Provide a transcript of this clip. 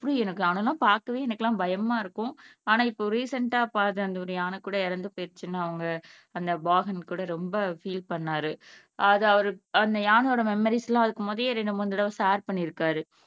அதெல்லாம் பாக்கவே எனக்கெல்லாம் பயமா இருக்கும் ஆனா இப்போ ரீசண்டா பாத்த அந்த யானை கூட இறந்துபோயிருச்சுன்னு அவங்க அந்த பாகன் கூட ரொம்ப ஃபீல் பண்ணுனாரு அது அவர் அந்த யானையோட மெம்மரீஸ் எல்லாம் அதுக்கு முதல்லையே ஷேர் பண்ணியிருக்கார்